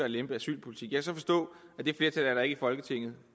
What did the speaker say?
at lempe asylpolitikken og så forstå at det flertal er der ikke i folketinget